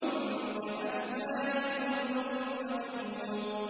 كَأَمْثَالِ اللُّؤْلُؤِ الْمَكْنُونِ